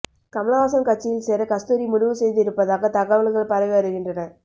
கமல்ஹாசன் கட்சியில் சேர கஸ்தூரி முடிவு செய்து இருப்பதாக தகவல்கள் பரவி வருகின்றன